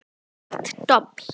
Hart dobl.